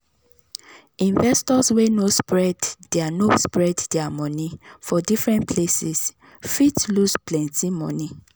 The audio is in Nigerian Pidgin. investors wey no spread their no spread their money for different places fit lose plenty money.